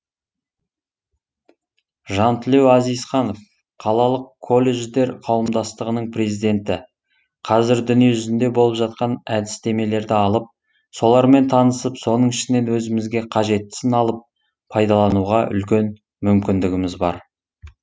жантілеу әзизханов қалалық колледждер қауымдастығының президенті қазір дүниежүзінде болып жатқан әдістемелерді алып солармен танысып соның ішінен өзімізге қажеттісін алып пайдалануға үлкен мүмкіндігіміз бар